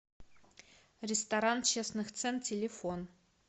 ресторан честных цен телефон